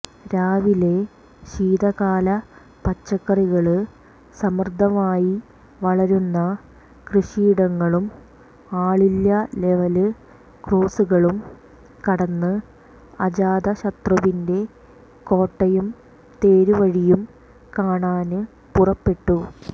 രാവിലെ ശീതകാല പച്ചക്കറികള് സമൃദ്ധമായി വളരുന്ന കൃഷിയിടങ്ങളും ആളില്ലാ ലെവല് ക്രോസ്സുകളും കടന്ന് അജാതശത്രുവിന്റെ കോട്ടയും തേരുവഴിയും കാണാന് പുറപ്പെട്ടു